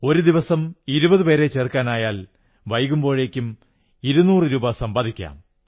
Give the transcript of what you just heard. ഒരു ദിവസം ഇങ്ങനെ ഇരുപതു പേരെ ചേർക്കാനായാൽ വൈകുമ്പോഴേക്കും 200 രൂപ സമ്പാദിക്കാം